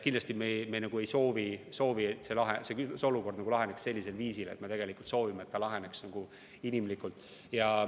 Kindlasti me ei soovi, et mingi olukord laheneks sellisel viisil, me soovime, et kõik laheneks inimlikult.